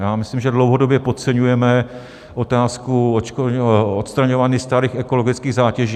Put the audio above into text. Já myslím, že dlouhodobě podceňujeme otázku odstraňování starých ekologických zátěží.